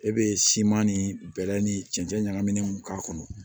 E be siman ni bɛlɛ ni cɛncɛn ɲagaminin k'a kɔnɔ